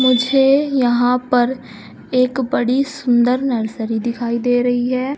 मुझे यहां पर एक बड़ी सुंदर नर्सरी दिखाई दे रही है।